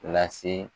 Lase